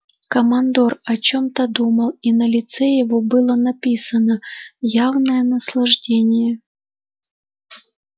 командор о чём-то думал и на лице его было написано явное наслаждение